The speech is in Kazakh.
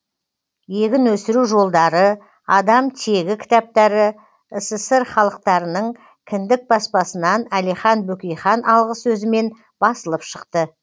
егін өсіру жолдары адам тегі кітаптары ссср халықтарының кіндік баспасынан әлихан бөкейхан алғысөзімен басылып шықты